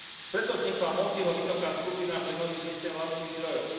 Preto vznikla Montiho vysoká skupina pre nový systém vlastných zdrojov.